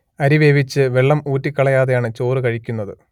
അരി വേവിച്ച് വെള്ളം ഊറ്റിക്കളയാതെയാണ് ചോറ് കഴിക്കുന്നത്